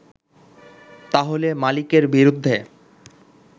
তাহলে মালিকের বিরুদ্ধে